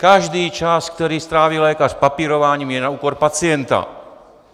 Každý čas, který stráví lékař papírováním, je na úkor pacienta.